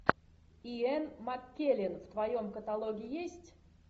иэн маккеллен в твоем каталоге есть